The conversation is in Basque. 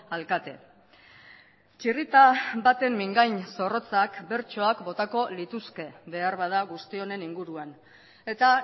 alkate txirrita baten mingain zorrotzak bertsoak botako lituzke beharbada guztionen inguruan eta